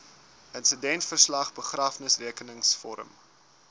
insidentverslag begrafnisrekenings vorm